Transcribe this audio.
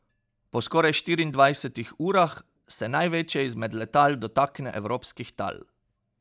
Po skoraj štiriindvajsetih urah se največje izmed letal dotakne evropskih tal.